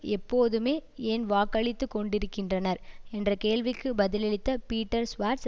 எப்போதுமே ஏன் வாக்களித்துக் கொண்டிருக்கின்றனர் என்ற கேள்விக்கு பதிலளித்த பீட்டர் சுவார்ட்ஸ்